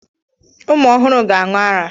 Ụmụ ọhụrụ ga-aṅụ ara.